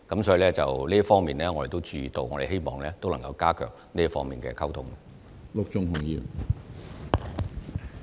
所以，這方面我們是有注意到的，亦希望能夠加強這方面的溝通工作。